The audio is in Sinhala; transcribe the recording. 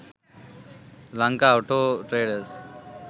lanka auto traders